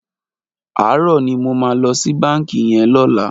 Aárò ni mó mà lò si bànkí yèn lòlá